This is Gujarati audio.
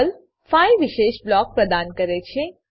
પર્લ 5 વિશેષ બ્લોકો પ્રદાન કરે છે